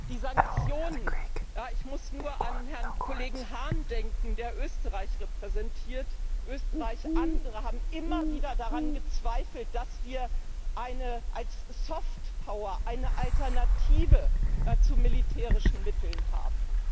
Die Sanktionen ich muss nur an den Herrn Kollegen Hahn denken, der Österreich repräsentiert Österreich, andere haben immer wieder daran gezweifelt, dass wir als Softpower eine Alternative zu militärischen Mitteln haben.